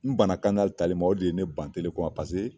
N banna tali ma o de ye ne ban ko ma